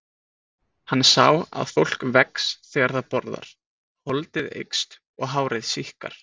Hann sá að fólk vex þegar það borðar, holdið eykst og hárið síkkar.